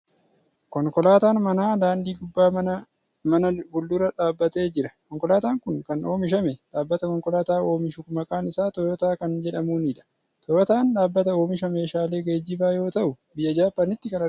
Konkolaataan manaa daandii gubbaa mana fuuldura dhaabatee jira. Konkolaataan kun kan oomishamee dhaabbata konkolaataa oomishu maqaan isaa Tooyootaa kan jedhamuuni dha. Tooyootaan ,dhaabbata oomisha meeshaalee geejibaa yoo ta'u, biyya Jaappaanitti kan argamuu dha.